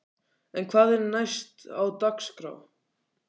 En hvað er næst á dagskrá?